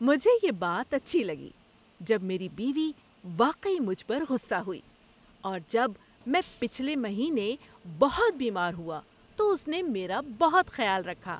مجھے یہ بات اچھی لگی جب میری بیوی واقعی مجھ پر غصہ ہوئی اور جب میں پچھلے مہینے بہت بیمار ہوا تو اس نے میرا بہت خیال رکھا۔